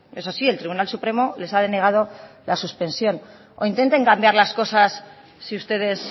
eso sí el tribunal supremo les ha denegado la suspensión o intenten cambiar las cosas si ustedes